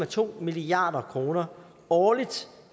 to milliard kroner årligt